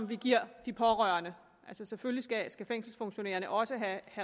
vi giver de pårørende selvfølgelig skal fængselsfunktionærerne også have